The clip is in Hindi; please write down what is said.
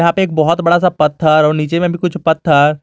यहां पे एक बहुत बड़ा सा पत्थर और नीचे में भी कुछ पत्थर--